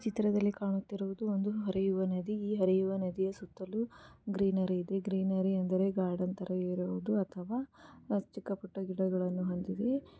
ಚಿತ್ರದಲ್ಲಿ ಕಾಣುತ್ತಿರುವುದು ಒಂದು ಹರಿಯುವ ನದಿ ಈ ಹರಿಯುವ ನದಿ ಸುತ್ತಲೂ ಗ್ರೀನರಿ ಇದೆ ಗ್ರೀನರಿ ಅಂದ್ರೆ ಗಾರ್ಡನ್ ಥರ ಇರೋದು ಅಥವಾ ಚಿಕ್ಕ ಪುಟ್ಟ ಗಿಡಗಳನ್ನು ಹೊಂದಿವೆ---